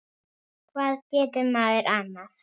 Hvað getur maður annað?